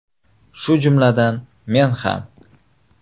Shu jumladan men ham.